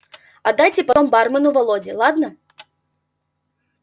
отдайте потом бармену володе ладно